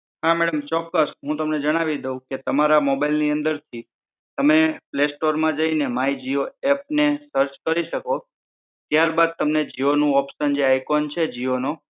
હા મેડમ ચોક્કસ હું તમને જણાવી દઉં કે તમારા મોબાઈલ ની અંદર તમે પ્લેસ્ટોર માં જઈને જીઓ એપ ને સર્ચ કરી શકો. ત્યારબાદ તમને જીઓ નું કે ઓપશન જે આઇકોન છે જીઓનો